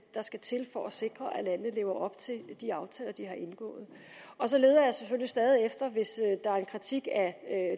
der skal til for at sikre at landene lever op til de aftaler de har indgået og så leder jeg selvfølgelig stadig efter hvis der er en kritik af